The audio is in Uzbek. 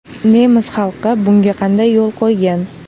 Nemis xalqi bunga qanday yo‘l qo‘ygan?